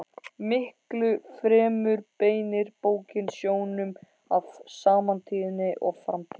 Miklu fremur beinir bókin sjónum að samtíðinni og framtíðinni.